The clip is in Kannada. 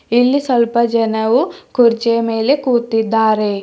ಇಲ್ಲಿ ಸ್ವಲ್ಪ ಜನವು ಕುರ್ಚಿಯ ಮೇಲೆ ಕೂತಿದ್ದಾರೆ.